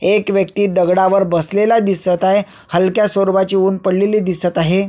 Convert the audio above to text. एक व्यक्ति दगडावर बसलेला दिसत आहे हलक्या स्वरूपाचे उन पडलेले दिसत आहे.